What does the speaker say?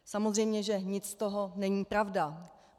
Samozřejmě že nic z toho není pravda.